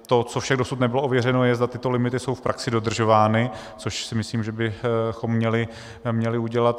To, co však dosud nebylo ověřeno, je, zda tyto limity jsou v praxi dodržovány, což si myslím, že bychom měli udělat.